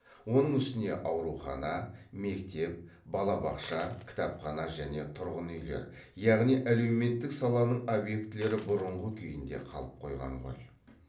оның үстіне аурухана мектеп бала бақша кітапхана және тұрғын үйлер яғни әлеуметтік саланың объектілері бұрынғы күйінде қалып қойған ғой